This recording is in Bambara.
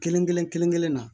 Kelen kelen kelen na